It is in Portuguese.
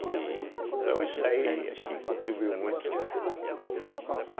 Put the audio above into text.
e... Então isso daí acho que contribuiu muito, né?